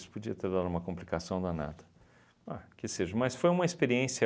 podia ter dado uma complicação danada, ah, que seja, mas foi uma experiência